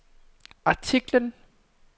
artiklen